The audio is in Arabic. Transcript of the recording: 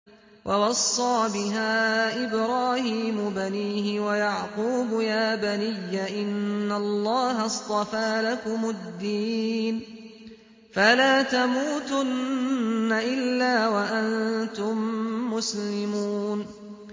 وَوَصَّىٰ بِهَا إِبْرَاهِيمُ بَنِيهِ وَيَعْقُوبُ يَا بَنِيَّ إِنَّ اللَّهَ اصْطَفَىٰ لَكُمُ الدِّينَ فَلَا تَمُوتُنَّ إِلَّا وَأَنتُم مُّسْلِمُونَ